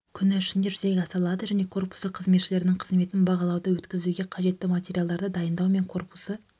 күні ішінде жүзеге асырылады және корпусы қызметшілерінің қызметін бағалауды өткізуге қажетті материалдарды дайындау мен корпусы